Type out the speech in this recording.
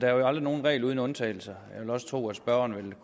er der aldrig en regel uden undtagelse jeg vil også tro at spørgeren